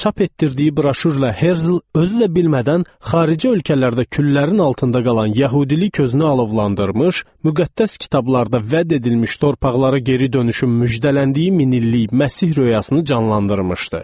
Çap etdirdiyi broşurla Herzl özü də bilmədən xarici ölkələrdə küllərin altında qalan yəhudilik gözünü alovlandırmış, müqəddəs kitablarda vəd edilmiş torpaqlara geri dönüşün müjdələndiyi minillik Məsih röyasını canlandırmışdı.